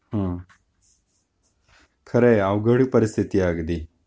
हम्म खरय अवघड परिस्थिति आहे अगदी